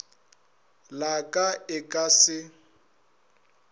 la ka e ka se